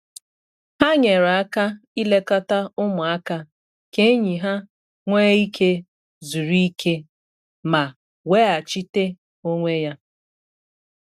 Ha nyere aka ilekọta ụmụaka ka enyi ha nwee ike zuru ike ma weghachite onwe ya.